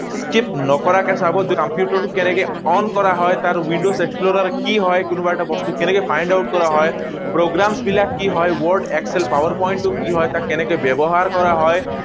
Skip নকৰাকে চাব যে কম্পিউটাৰটো কেনেকৈ on কৰা হয়, তাৰ windows explorer কি হয়, কোনোবা এটা বস্তু কেনেকৈ find out কৰা হয়, programmes বিলাক কি হয়, word, excel, PowerPoint কি হয়, তাক কেনেকৈ ব্যৱহাৰ কৰা হয়।